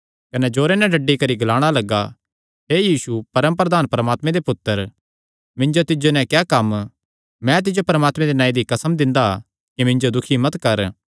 कने जोरे नैं डड्डी करी ग्लाणा लग्गा हे यीशु परम प्रधान परमात्मे दे पुत्तर मिन्जो तिज्जो नैं क्या कम्म मैं तिज्जो परमात्मे दे नांऐ दी कसम दिंदा कि मिन्जो दुखी मत कर